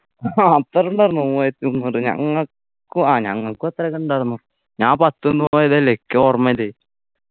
ഹാ അത്ര ഇണ്ടായിരുന്നൊ മൂവായിരത്തി മുന്നൂറ് ഞങ്ങക്കു ആഹ് ഞങ്ങക്കും അത്രയൊക്കെ ഉണ്ടാരുന്നു ഞാൻ പത്തുന്നു പോയതല്ലേ ക്ക് ഓർമ്മയില്ലേ